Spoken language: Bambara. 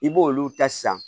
I b'olu ta san